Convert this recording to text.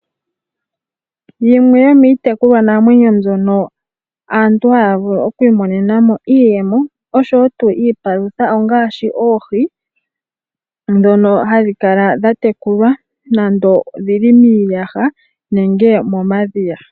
Yimwe yomiitekulwanamwenyo mbyono aantu haya vulu oku imonena mo iiyemo osho wo iipalutha ongaashi oohi ndhono hadhi kala dha tekulwa dhili nande omiiyaha nenge momadhiya.